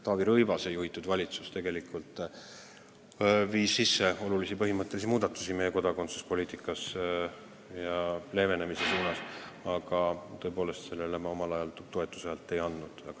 Taavi Rõivase juhitud valitsus tegelikult viis sisse olulisi põhimõttelisi muudatusi meie kodakondsuspoliitika leevenemise suunas, aga tõepoolest sellele ma omal ajal toetushäält ei andnud.